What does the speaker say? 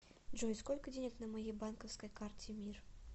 джой сколько денег на моей банковской карте мир